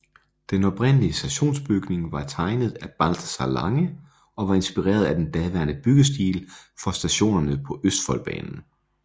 Den oprindelige stationsbygning var tegnet af Balthazar Lange og var inspireret af den daværende byggestil for stationerne på Østfoldbanen